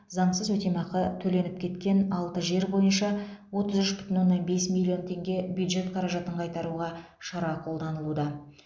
заңсыз өтемақы төленіп кеткен алты жер бойынша отыз үш бүтін оннан бес миллион теңге бюджет қаражатын қайтаруға шара қолданылуда